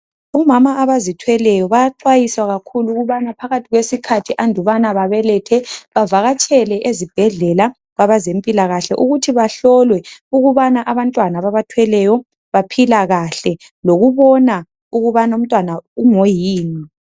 Omama abazithweleyo bayaxwayiswa kakhulu ukubana phakathi kwesikhathi andubana babelethe bavakatshele ezibhedlela kwabezempilakahle ukuthi bahlolwe ukubana abantwana ababathweleyo baphila kahle lokubona ukuthi umntwana ungoyini.